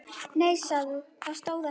Nei það stóð ekki til.